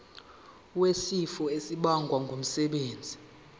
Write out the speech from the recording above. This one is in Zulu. wesifo esibagwe ngumsebenzi